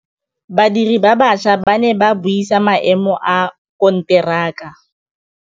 Badiri ba baša ba ne ba buisa maêmô a konteraka.